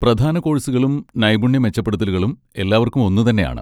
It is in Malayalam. പ്രധാന കോഴ്സുകളും നൈപുണ്യ മെച്ചപ്പെടുത്തലുകളും എല്ലാവർക്കും ഒന്നുതന്നെയാണ്.